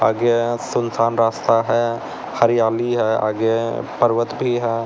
आगे यहाँ सूनसान रास्ता है हरियाली है आगे पर्वत भी है।